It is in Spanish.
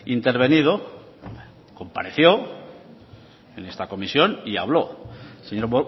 intervenido compareció en esta comisión y habló señor